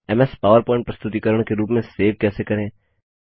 MS PowerPoint प्रस्तुतिकरण के रूप में सेव कैसे करें